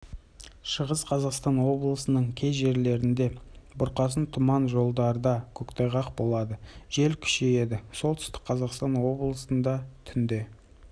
шығыс қазақстан облысының кей жерлерінде бұрқасын тұман жолдарда көктайғақ болады жел күшейеді солтүстік қазақстан облысында түнде